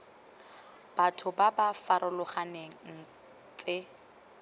batho ba ba farologaneng tse